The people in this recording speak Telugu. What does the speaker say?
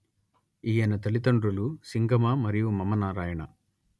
ఈయన తల్లితండ్రులు సింగమ మరియు మమనారాయణ